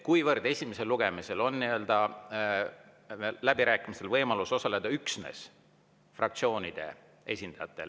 Esimesel lugemisel on läbirääkimistel võimalus osaleda üksnes fraktsioonide esindajatel.